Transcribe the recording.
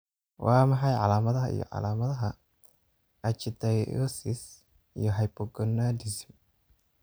Waa maxay calaamadaha iyo calaamadaha Ichthyosis iyo hypogonadism ?